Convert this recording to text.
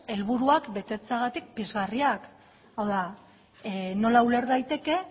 helburuak betetzeagatik pizgarriak hau da nola uler daiteke